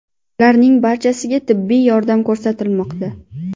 Ularning barchasiga tibbiy yordam ko‘rsatilmoqda.